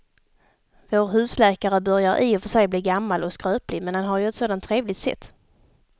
Vår husläkare börjar i och för sig bli gammal och skröplig, men han har ju ett sådant trevligt sätt!